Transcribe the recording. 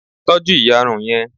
tọju iyarun yẹn